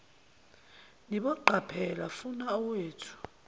niboqaphela funa owethu